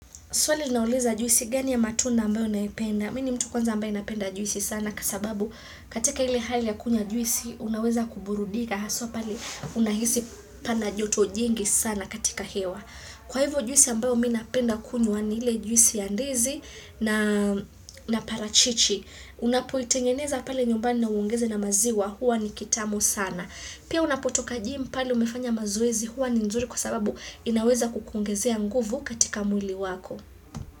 Swali ulilouliza juisi gani ya matunda ambayo naipenda. Mimi ni mtu kwanza ambaye napenda juisi sana, kwa sababu katika ile hali ya kunywa juisi unaweza kuburudika. Haswa pale unahisi pana joto jingi sana katika hewa. Kwa hivyo juisi ambayo mimi napenda kunywa ni ile juisi ya ndizi na parachichi. Unapoitengeneza pale nyumbani na uongeze na maziwa huwa ni kitamu sana. Pia unapotoka gym pale umefanya mazoezi huwa ni nzuri kwa sababu inaweza kukuongezea nguvu katika mwili wako.